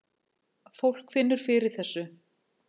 Fólk finnur fyrir þessu